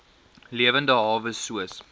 lewende hawe soos